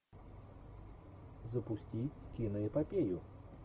запусти киноэпопею